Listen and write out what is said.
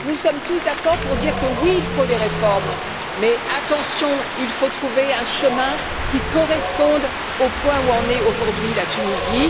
Nous sommes tous d'accord pour dire que oui, il faut des réformes, mais attention, il faut trouver un chemin qui corresponde au point où en est aujourd'hui la Tunisie.